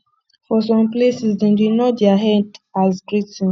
for some places dem dey nod their head as greeting